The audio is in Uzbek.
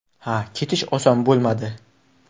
Ha, ketish oson bo‘lmadi.